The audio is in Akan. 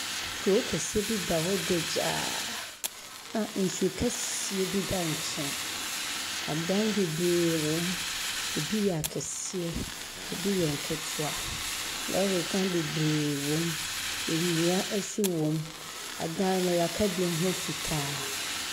Kuro kɛseɛ bi da hɔ dagyaa a nsu kɛseɛ bi da nkyɛn, adan bebree wɔ mu, ebi yɛ akɛseɛ, ebi yɛ nketewa. Lɔɔre kwan bebree wɔ mu. Enua ɛso wɔ mu, ɛdan no yaka bi ho fitaa.